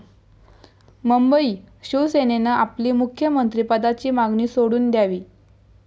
मुंबई शिवसेनेनं आपली मुख्यमंत्री पदाची मागणी सोडून द्यावी.